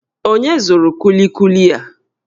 Onye zụrụ kulikuli a?